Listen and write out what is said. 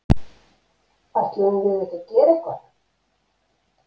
Ætluðum við ekki að gera eitthvað?!